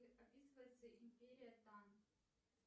описывается империя тан